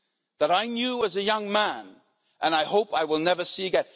that I knew as a young man, and I hope I will never see again.